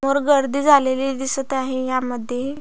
वर गर्दी झालेली दिसत आहे यामध्ये --